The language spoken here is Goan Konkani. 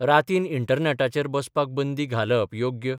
रातीन इंटरनॅटाचेर बसपाक बंदी घालप योग्य?